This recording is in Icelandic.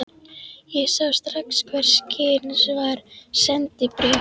Ég sá strax hvers kyns var: SENDIBRÉF